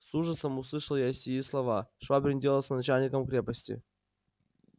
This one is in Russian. с ужасом услышал я сии слова швабрин делался начальником крепости